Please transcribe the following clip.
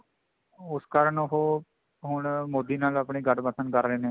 ਉਸ ਕਾਰਨ ਉਹ ਕਾਰਨ ਉਹ ਹੁਣ ਮੋਦੀ ਨਾਲ ਗਠਬੰਧਨ ਕਰ ਰਹੇ ਨੇ